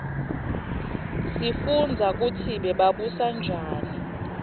sifundza kutsi bebabusa njani